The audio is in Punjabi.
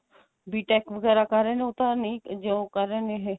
BTECH ਵਗੈਰਾ ਕਰ ਰਹੇ ਨੇ ਉਹ ਤਾਂ ਨਹੀਂ job ਕਰ ਰਹੇ ਨੇ ਇਹ